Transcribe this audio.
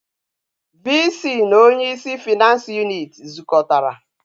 VC na onye is finance unit zukotara